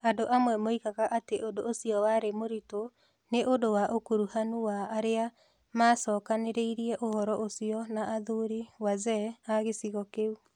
Andũ amwe moigaga atĩ ũndũ ũcio warĩ mũritũ nĩ ũndũ wa ũkuruhanu wa arĩa maacokanĩrĩirie ũhoro ũcio na athuri (wazee) a gĩcigo kĩu.